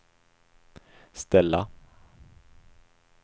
ställa